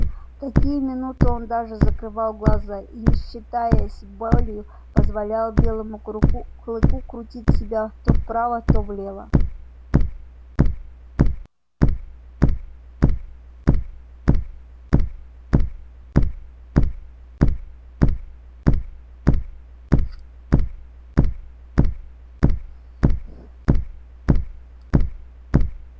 в такие минуты он даже закрывал глаза и не считаясь с болью позволял белому клыку крутить себя то вправо то влево